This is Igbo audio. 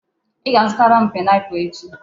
Ị ga-azụtara m pineapple echi.